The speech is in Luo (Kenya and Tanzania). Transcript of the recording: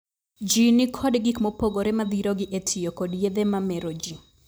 Jii ni kod gik mopogore madhirogi e tiyo kod yedhe ma mero jii.